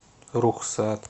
рухсат